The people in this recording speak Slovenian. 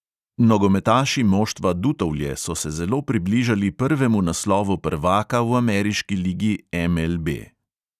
Nogometaši moštva dutovlje so se zelo približali prvemu naslovu prvaka v ameriški ligi MLB.